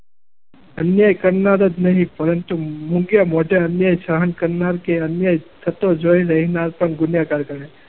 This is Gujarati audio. અન્યાય કરનાર જ નહીં પરંતુ મોંઘે મોઢે અન્ય સહન કરનાર કે અન્યાય થતો જોતા રહેનાર પણ ગુનેગાર ગણાય.